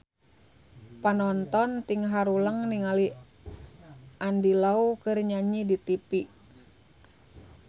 Panonton ting haruleng ningali Andy Lau keur nyanyi di tipi